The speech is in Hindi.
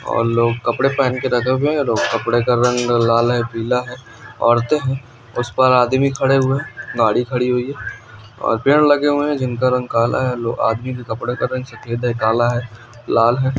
और लोग कपड़े पहन के कपड़े का रंग लाल है पीला है औरतें उसे पर आदमी खड़े हुए गाड़ी खड़ी हुई है और पेड़ लगे हुए हैं कला है लाल है और लोग लाल है|